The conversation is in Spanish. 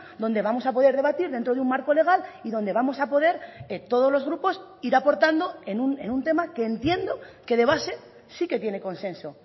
donde vamos a poder debatir dentro de un marco legal y donde vamos a poder todos los grupos ir aportando en un tema que entiendo que de base sí que tiene consenso